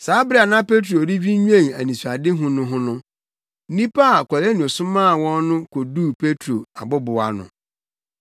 Saa bere a na Petro redwinnwen anisoadehu no ho no, nnipa a Kornelio somaa wɔn no koduu Petro abobow ano.